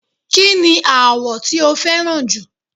ki ni awọ ti o fẹràn ju